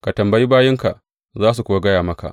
Ka tambayi bayinka za su kuwa gaya maka.